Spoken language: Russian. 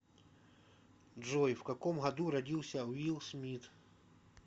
джой в каком году родился уилл смит